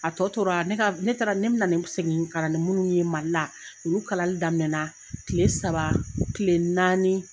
A tɔ tora ne ka ne taara ne bɛ na segin ka na ni munnu ye Mali la olu kalali daminɛ na kile saba kile naani.